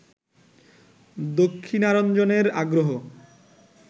দক্ষিণারঞ্জনের আগ্রহ